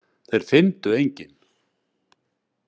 Þeir fyndu engin.